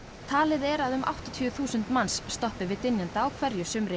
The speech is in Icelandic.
talið er að um áttatíu þúsund manns stoppi við dynjanda á hverju sumri